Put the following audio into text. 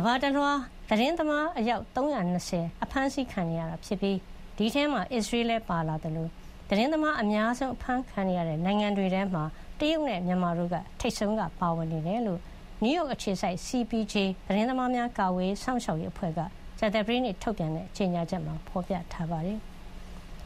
ဘာတလွှား သတင်းသမားအယောက် ၃၂၀ အဖမ်းဆီးခံနေရပြီး ဒီအထဲမှာ အစ္စရေးလည်း ပါဝင်လာသလို သတင်းသမား အများဆုံး အဖမ်းခံနေရတဲ့ နိုင်ငံတွေထဲမှာတော့ တရုတ်နဲ့ မြန်မာတို့က ထိပ်ဆုံးက ပါဝင်နေတယ်လို့ နယူးရောက် အခြေစိုက် CPJ သတင်းသမားများ ကာကွယ်စောင့်ရှောက်ရေးအဖွဲ့က ကြာသပတေးနေ့ ကြေညာချက်မှာ ဖေါ်ပြထားပါတယ်။